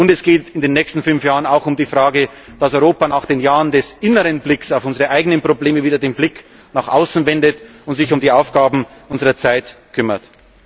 Und es geht in den nächsten fünf Jahren auch um die Frage, dass Europa nach den Jahren des inneren Blicks auf unsere eigenen Probleme wieder den Blick nach außen wendet und sich um die Aufgaben unserer Zeit kümmert.